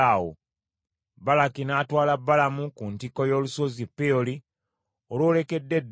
Balaki n’atwala Balamu ku ntikko y’olusozi Peoli, olwolekedde eddungu.